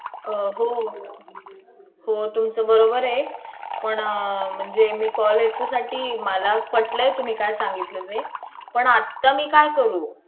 अं हो. तुमचं बरोबर आहे पण अं म्हणजे मी call याच्यासाठी~ मला पटलंय तुम्ही काय सांगितलं ते. पण आता मी काय करू?